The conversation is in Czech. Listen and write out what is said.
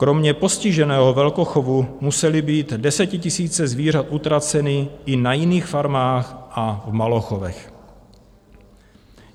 Kromě postiženého velkochovu musely být desetitisíce zvířat utraceny i na jiných farmách a v malochovech.